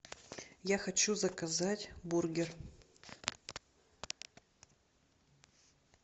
я хочу заказать бургер